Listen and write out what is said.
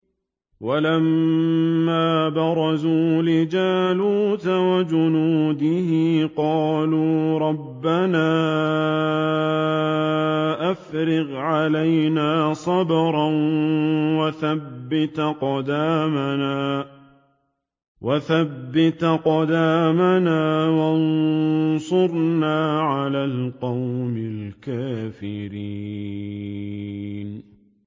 وَلَمَّا بَرَزُوا لِجَالُوتَ وَجُنُودِهِ قَالُوا رَبَّنَا أَفْرِغْ عَلَيْنَا صَبْرًا وَثَبِّتْ أَقْدَامَنَا وَانصُرْنَا عَلَى الْقَوْمِ الْكَافِرِينَ